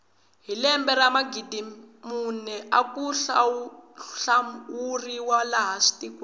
hi lembe ra magidimbirhi mune aku hlawuriwa laha tikweni